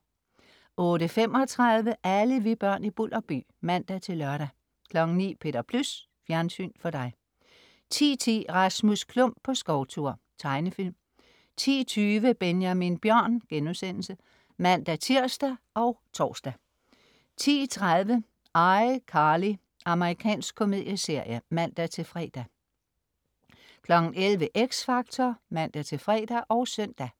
08.35 Alle vi børn i Bulderby (man-lør) 09.00 Peter Plys. Fjernsyn for dig 10.10 Rasmus Klump på skovtur. Tegnefilm 10.20 Benjamin Bjørn* (man-tirs og tors) 10.30 ICarly. Amerikansk komedieserie (man-fre) 11.00 X Factor (man-fre og søn)